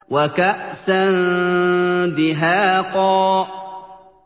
وَكَأْسًا دِهَاقًا